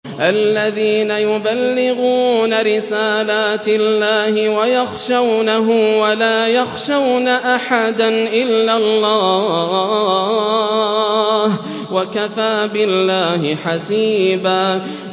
الَّذِينَ يُبَلِّغُونَ رِسَالَاتِ اللَّهِ وَيَخْشَوْنَهُ وَلَا يَخْشَوْنَ أَحَدًا إِلَّا اللَّهَ ۗ وَكَفَىٰ بِاللَّهِ حَسِيبًا